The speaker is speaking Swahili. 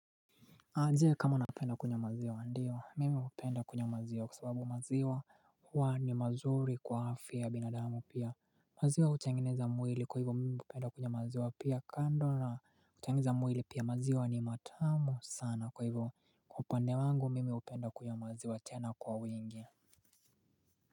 Na je kama napenda kunywa maziwa, ndio mimi hupenda kunywa maziwa kwa sababu maziwa huwa ni mazuri kwa afya ya binadamu, pia maziwa utengeneza mwili kwa hivyo mimi hupenda kunya maziwa pia kando na kutengeneza mwili pia maziwa ni matamu sana kwa hivyo kwa upande wangu mimi hupenda kunywa maziwa tena kwa wingi.